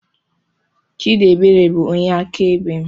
Chidiebere bụ onye akaebe mụ nwere